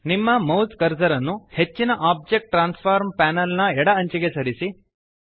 ನಿಮ್ಮ mouse cursor ಅನ್ನು ಹೆಚ್ಚಿನ ಒಬ್ಜೆಕ್ಟ್ ಟ್ರಾನ್ಸ್ಫಾರ್ಮ್ ಪ್ಯಾನೆಲ್ನ ಎಡ ಅಂಚಿಗೆ ಸರಿಸಿ